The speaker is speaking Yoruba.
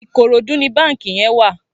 Ikorodu ni bànkí yèn wà